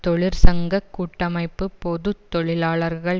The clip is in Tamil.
தொழிற்சங்க கூட்டமைப்பு பொது தொழிலாளர்கள்